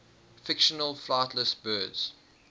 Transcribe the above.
fictional flightless birds